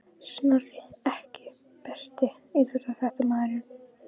Snorri EKKI besti íþróttafréttamaðurinn?